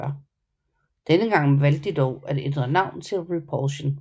Denne gang valgte de dog at ændre navn til Repulsion